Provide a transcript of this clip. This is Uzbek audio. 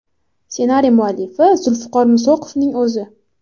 Ssenariy muallifi Zulfiqor Musoqovning o‘zi.